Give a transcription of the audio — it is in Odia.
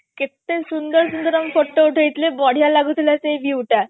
କେତେ ସୁନ୍ଦର ସୁନ୍ଦର ଆମେ photo ଉଠେଇ ଥିଲେ ବଢିଆ ଲାଗୁଥିଲା ସେଇ view ଟା